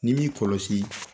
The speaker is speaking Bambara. Ni m'i kɔlɔsi